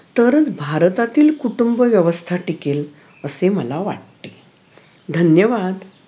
तरच भारतातील कुटुंबव्यवस्था टिकेल असे मला वाटते धन्यवाद